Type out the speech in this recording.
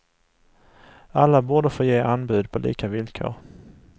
Alla borde få ge anbud på lika villkor.